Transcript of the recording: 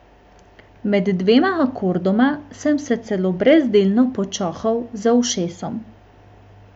Med dvema akordoma sem se celo brezdelno počohal za ušesom.